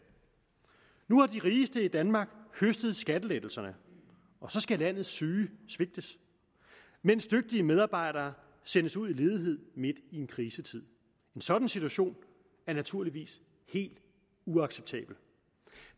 nu har de rigeste i danmark høstet skattelettelserne og så skal landets syge svigtes mens dygtige medarbejdere sendes ud i ledighed midt i en krisetid en sådan situation er naturligvis helt uacceptabel